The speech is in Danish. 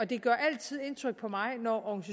det gør altid indtryk på mig når